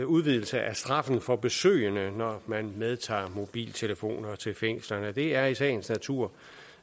udvidelse af straffen for besøgende når man medtager mobiltelefoner til fængslerne det er i sagens natur